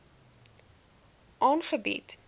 aangebied